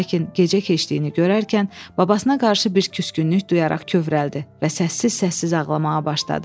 Lakin gecə keçdiyini görərkən babasına qarşı bir küskünlük duyaraq kövrəldi və səssiz-səssiz ağlamağa başladı.